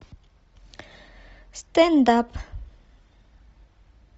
стенд ап